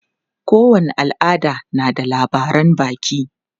Kowane al'ada na da labaran baki.